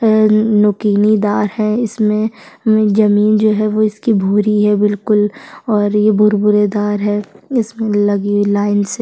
N नुकीली दार हैं इसमें जमीन जो है वो इसकी भूरी है बिलकुल और ये भूर भूरेदार है इसमें लगी हुई लाइन से--